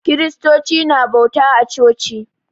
Kiristoci na bauta a coci